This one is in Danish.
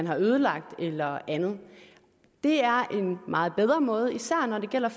har ødelagt eller andet det er en meget bedre måde især når det gælder